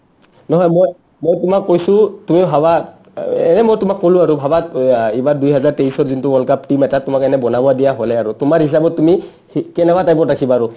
নহয় মই, মই তোমাক কৈছো তুমি ভাবা এনে মই তোমাক ক'লো আৰু ভাবা এইবাৰ দুইহাজাৰ তেইছত যোনটো world cup team এটা তোমাক এনে বনাব দিয়া হ'লে আৰু তোমাৰ হিচাপত তুমি সি কেনেকা type ত ৰাখিবা আৰু